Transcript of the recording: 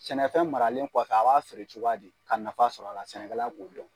Sɛnɛfɛn maralen kɔfɛ,a b'a feere cogoya di? K'a nafa sɔrɔ a la, sɛnɛkala b'o dɔn